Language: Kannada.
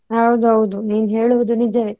ಹೌದೌದು ನೀನ್ ಹೇಳುವುದು ನಿಜವೇ.